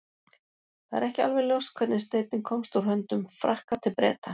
það er ekki alveg ljóst hvernig steinninn komst úr höndum frakka til breta